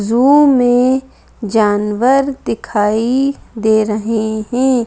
जू में जानवर दिखाई दे रहे हैं।